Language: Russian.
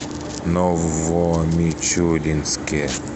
новомичуринске